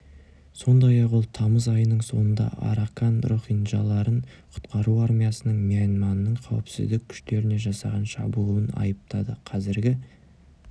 сондай-ақ ол тамыз айының соңында аракан рохинджаларын құтқару армиясының мьянманның қауіпсіздік күштеріне жасаған шабуылын айыптады қазіргі